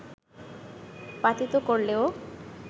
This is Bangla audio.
পাতিত করলেও